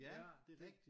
Ja det rigtigt